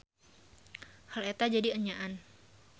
Hal eta jadi enyaan.